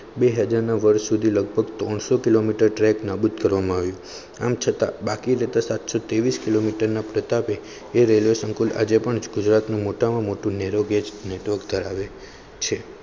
બેહજાર ના વર્ષ સુધી લગભગત્રણસો કિલોમીટર ટ્રેક નાબૂદ કરવામાં આવી. આમ છતાં બાકી રહેતા સાતસો તેવીશ કિલોમીટરના પ્રતાપે રેલવે સંકુલ આજે પણ ગુજરાતનું મોટામાં મોટું નેરોગેજ network ધરાવે છે.